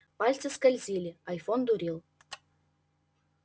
пальцы скользили айфон дурил